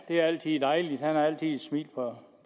det er altid dejligt han har altid et smil på